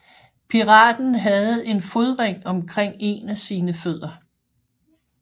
Piraten havde en fodring omkring en af sine fødder